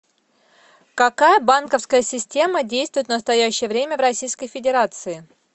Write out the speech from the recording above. какая банковская система действует в настоящее время в российской федерации